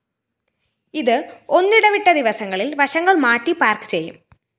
ഇത് ഒന്നിടവിട്ട ദിവസങ്ങളില്‍ വശങ്ങള്‍ മാറ്റി പാര്‍ക്ക് ചെയ്യും